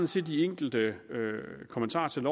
til de enkelte kommentarer til